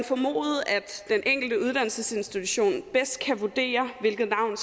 den enkelte uddannelsesinstitution bedst kan vurdere hvilket navn